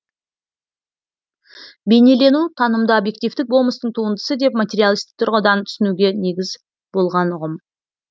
бейнелену танымды объективтік болмыстың туындысы деп материалистік тұрғыдан түсінуге негіз болған ұғым